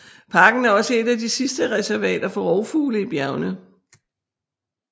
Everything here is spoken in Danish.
Parken er også et af de sidste reservater for rovfugle i bjergene